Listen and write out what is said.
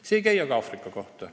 See ei käi aga Aafrika kohta.